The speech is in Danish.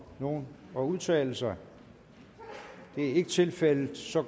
nogen at udtale sig det er ikke tilfældet så